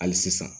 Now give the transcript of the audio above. Hali sisan